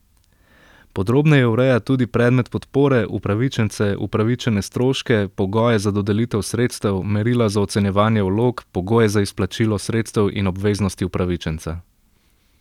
Podrobneje ureja tudi predmet podpore, upravičence, upravičene stroške, pogoje za dodelitev sredstev, merila za ocenjevanje vlog, pogoje za izplačilo sredstev in obveznosti upravičenca.